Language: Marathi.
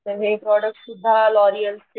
हे प्रॉडक्ट्स सुद्धा लॉरिअलचे,